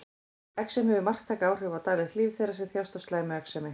Exem hefur marktæk áhrif á daglegt líf þeirra sem þjást af slæmu exemi.